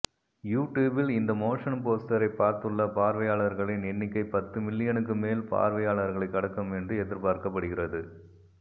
யூடியூபில் இந்த மோஷன் போஸ்டரை பார்த்துள்ள பார்வையாளர்களின் எண்ணிக்கை பத்து மில்லியனுக்கும் மேல் பார்வையாளர்களை கடக்கும் என்று எதிர்பார்க்கப் படுகிறது